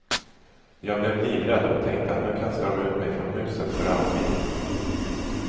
Jag blev livrädd och tänkte att nu kastar de ut mig från huset för alltid.